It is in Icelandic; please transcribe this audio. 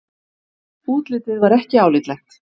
Útlitið var ekki álitlegt.